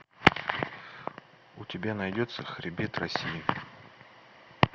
у тебя найдется хребет россии